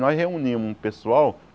Nós reunimos um pessoal.